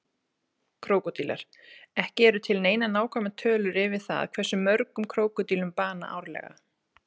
Krókódílar Ekki eru til neinar nákvæmar tölur yfir það hversu mörgum krókódílar bana árlega.